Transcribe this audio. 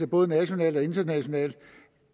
både nationalt og internationalt